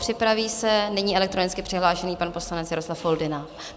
Připraví se nyní elektronicky přihlášený pan poslanec Jaroslav Foldyna.